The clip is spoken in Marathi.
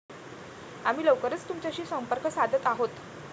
आम्ही लवकरच तुमच्याशी संपर्क साधत आहोत.